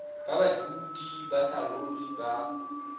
ba badudi ba saruri ba